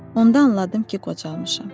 Onda anladım ki, qocalmışam.